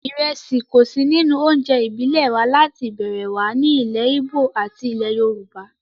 Ìrẹsì kò sí nínú oúnjẹ ìbílẹ̀ wa láti ìbẹ̀rẹ̀ wá ní ilẹ̀ ìgbò àti ilẹ̀ yorùbá